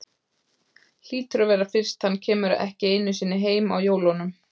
Hlýtur að vera fyrst hann kemur ekki einu sinni heim á jólunum.